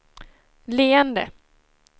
leende